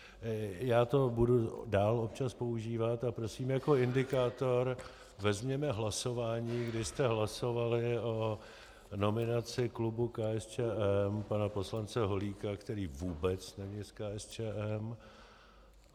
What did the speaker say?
Já to budu dál občas používat a prosím, jako indikátor vezměme hlasování, kdy jste hlasovali o nominaci klubu KSČM pana poslance Holíka, který vůbec není z KSČM.